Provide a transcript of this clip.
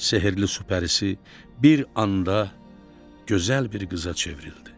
Şəhərli pərisi bir anda gözəl bir qıza çevrildi.